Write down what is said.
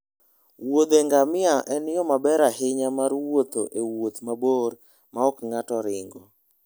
Wuodhe ngamia en yo maber ahinya mar wuotho e wuoth mabor maok ng'ato ringo.